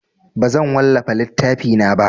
Bazan wallafa littafina ba.